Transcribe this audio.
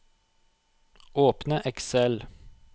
Åpne Excel